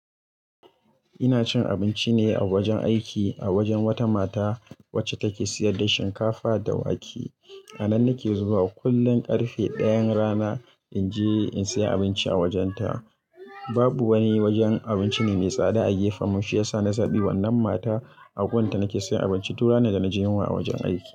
Ina cin abinci ne a wajen aiki a wajen wata mata wacce take sayar da shinkafa da wake. A nan nake zuwa kullum karfe dayan rana inji in saya abinci a wajenta. Babu wani wajen abinci ne mai tsada a gefenmu shiyasa na zaɓi wannan mata agunta nake sayan abinci duk ranar da naji yunwa a wajen aiki.